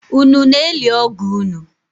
Unu na-eli ọgọ unu?